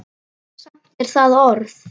Samt er það orð.